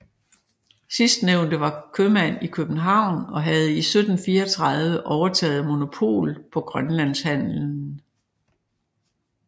Sidstnævnte var købmand i København og havde i 1734 overtaget monopolet på grønlandshandelen